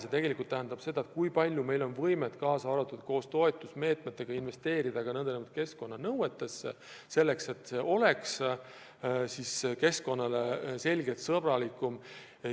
See tegelikult tähendab arvestamist, kui palju meil on võimet ka toetusmeetmeid kasutades investeerida keskkonnanõuete täitmisse, et tootmine oleks keskkonnasõbralikum.